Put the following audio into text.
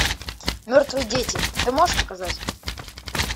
мертвые дети ты можешь показать